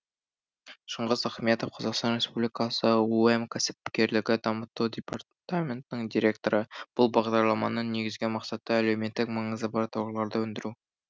шыңғыс ахметов қазақстан республикасы ұэм кәсіпкерлікті дамыту департаментінің директоры бұл бағдарламаны негізгі мақсаты әлеуметтік маңызы бар тауарларды өндіру